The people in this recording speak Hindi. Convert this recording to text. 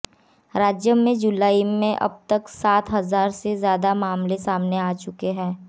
राज्य में जुलाई में अब तक सात हजार से ज्यादा मामले सामने आ चुके हैं